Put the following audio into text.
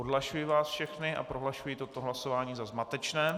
Odhlašuji vás všechny a prohlašuji toto hlasování za zmatečné.